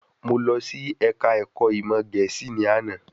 Mo lọ sí Ẹ̀ka ẹ̀kọ́ ìmọ̀ Gẹ̀ẹ́sì ní àná